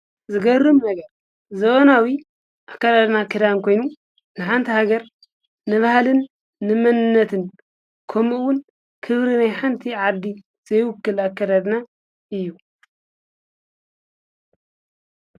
ዝገርም ነገር ዘመናዊ አካዳድና ክዳን ኮይኑ ናይ ሓንቲ ሃገር ንባህልን ንመንነትን ከምኡ ውን ክብሪ ናይ ሓንቲ ዓዲ ዘይውክል ኣከዳድና እዩ።